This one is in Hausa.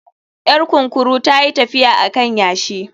Yar kunkuru ta yi tafiya a kan yashi